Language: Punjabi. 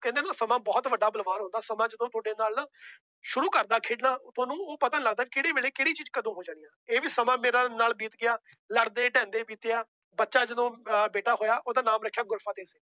ਕਹਿੰਦੇ ਨਾ ਸਮਾਂ ਬਹੁਤ ਵੱਡਾ ਬਲਵਾਨ ਹੁੰਦਾ, ਸਮਾਂ ਜਦੋਂ ਤੁਹਾਡੇ ਨਾਲ ਨਾ ਸ਼ੁਰੂ ਕਰਦਾ ਖੇਡਣਾ ਉਹ ਤੁਹਾਨੂੰ ਉਹ ਪਤਾ ਨੀ ਲੱਗਦਾ ਕਿਹੜੇ ਵੇਲੇ ਕਿਹੜੀ ਚੀਜ਼ ਕਦੋਂ ਹੋ ਜਾਣੀ ਆਂ, ਇਹ ਵੀ ਸਮਾਂ ਮੇਰਾ ਨਾਲ ਬੀਤ ਗਿਆ, ਲੜਦੇ ਢਹਿੰਦੇ ਬੀਤਿਆ, ਬੱਚਾ ਜਦੋਂ ਅਹ ਬੇਟਾ ਹੋਇਆ ਉਹਦਾ ਨਾਮ ਰੱਖਿਆ ਗੁਰਫਤਿਹ।